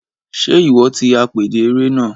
Ṣe iwọ ti apèdè eré náà?